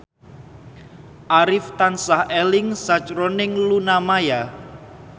Arif tansah eling sakjroning Luna Maya